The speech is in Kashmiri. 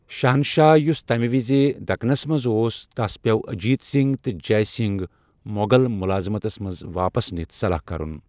شہنشاہ یُس تمہِ وِزِ دكنس منز اوس تس پیٛوٚو اجیت سِنگھ تہٕ جے سِنگھ مۄغل مُلٲذِمتس منز واپس نِتھ صلح كرُن ۔